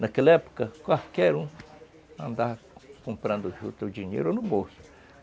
Naquela época, qualquer um andava comprando juta, o dinheiro, no bolso.